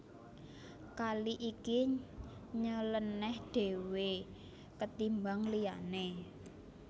Kali iki nyelenèh dhéwé ketimbang liyané